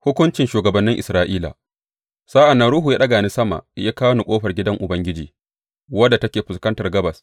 Hukuncin shugabannin Isra’ila Sa’an nan Ruhu ya ɗaga ni sama ya kawo ni ƙofar gidan Ubangiji wadda take fuskantar gabas.